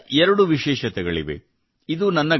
ಈ ತಂಡದ ಎರಡು ವಿಶೇಷತೆಗಳಿವೆ